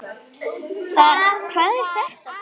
Hvað er þetta? tautaði afi.